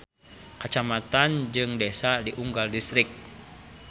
Kacamatan jeung desa di unggal distrik.